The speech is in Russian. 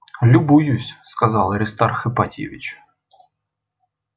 любуюсь сказал аристарх ипатьевич